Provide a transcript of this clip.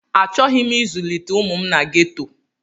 Achọghị m ịzụlite ụmụ m na geto.